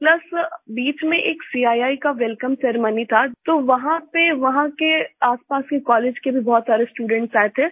Plus बीच में एक सीआईआई का वेलकम सेरेमनी था तो वहां पे वहाँ के आसपास के कॉलेज के भी बहुत सारे स्टूडेंट्स आये थे